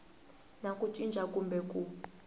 na ku cinca kumbe ku